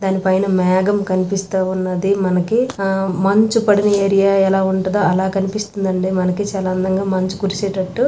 దానిపైన మేఘం కనిపిస్తా ఉన్నది మనకి. ఆహ్ మంచు పడిన ఏరియా ఎలా ఉంటదో అలా కనిపిస్తుందండి. మనకి చాలా అందంగా మంచు కురిసేటట్టు--